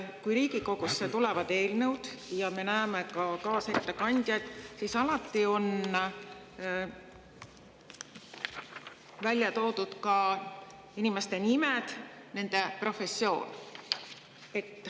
Kui Riigikogusse tulevad eelnõud ja me näeme ka kaasettekandjaid, siis alati on välja toodud inimeste nimed, nende professioon.